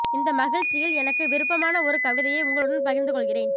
இந்த மகிழ்ச்சியில் எனக்கு விருப்பமான ஒரு கவிதையை உங்களுடன் பகிர்ந்து கொள்கிறேன்